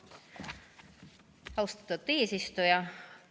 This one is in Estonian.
Austatud eesistuja!